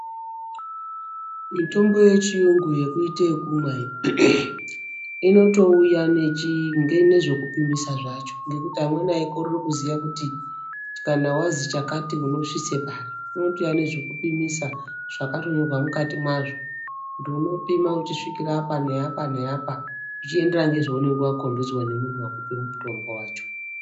mitombo yechiyungu iyi yekuita yekumwa iyi inotouya nezvekupimisa zvacho ngekuti amweni aikorere kuziva kuti kana wazi chakati unosvitse pari unotouya ngezvekupimisa zvakatonyorwa mukati mwazvo kuti unopima uchisvikira apa neapa neapa zvichienderana ngezvaunenge wakombedzwa nemunhu akupa mutombo wacho .